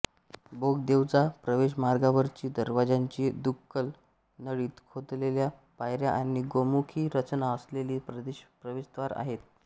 बोगदेवजा प्रवेशमार्गावरची दरवाज्यांची दुक्कलं नळीत खोदलेल्या पायऱ्या आणि गोमुखी रचना असलेली प्रवेशद्वारे आहेत